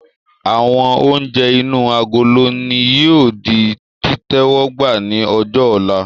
Àwọn oúnjẹ inú agolo ni yìí ó di títẹ́wọ́gbá ni ọjọ́ ọ̀la